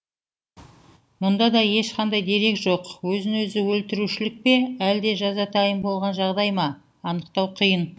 мұнда да ешқандай дерек жоқ өзін өзі өлтірушілік пе әлде жазатайым болған жағдай ма анықтау қиын